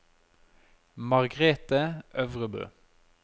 Margrethe Øvrebø